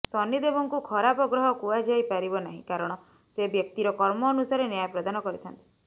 ଶନିଦେବଙ୍କୁ ଖରାପ ଗ୍ରହ କୁହାଯାଇ ପାରିବ ନାହିଁ କାରଣ ସେ ବ୍ୟକ୍ତିର କର୍ମ ଅନୁସାରେ ନ୍ୟାୟ ପ୍ରଦାନ କରିଥାନ୍ତି